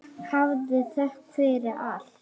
Hafið þökk fyrir allt.